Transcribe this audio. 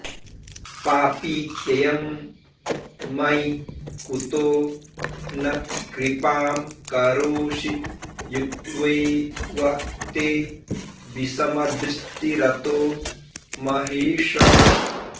पापीत्ययं मयि कुतो न कृपां करोषि युक्तैव ते विषमदृष्टिरतो महेश